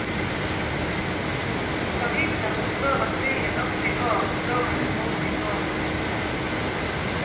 Pariserne spår at byen også i år, går en urolig vår i møte.